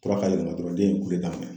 Tɔra ka yɛlɛma dɔrɔn den ye kule daminɛ.